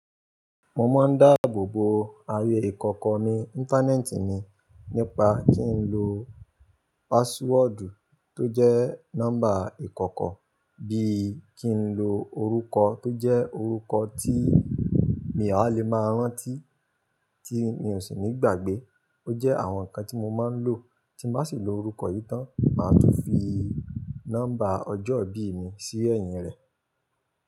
Mo máa ń dáàbò bo ààyè ìkọ̀kọ̀ mí Íńtánẹ́ẹ̀tì ni nípa kí n lo paasúọ̀dù tó jẹ́ nọ́mbà ìkọ̀kọ̀ bí i kí n lo orúkọ tó jẹ́ orúkọ tí mi ò há lè máa rántí tí mi ò sì ní ìgbàgbé. Ó jẹ́ àwọn nǹkan tí mo máa ń lò. Tí n bá sì lo orúkọ yìí tán, màá tún fi nọ́mbà ọjọ́ ìbí mi sí ẹ̀yìn rẹ̀.